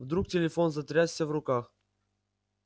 вдруг телефон затрясся в руках